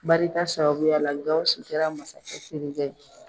Barika sabubuyala Gawusu kɛra masakɛ terikɛ ye